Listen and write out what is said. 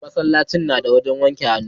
masallaci na da wajen wanke hannu